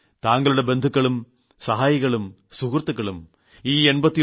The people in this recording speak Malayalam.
താങ്കളുടെ ബന്ധുക്കളും സഹായികളും സുഹൃത്തുക്കളും ഈ 89